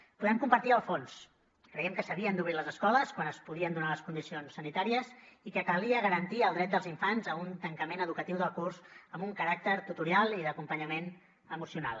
en podem compartir el fons creiem que s’havien d’obrir les escoles quan es podien donar les condicions sanitàries i que calia garantir el dret dels infants a un tancament educatiu del curs amb un caràcter tutorial i d’acompanyament emocional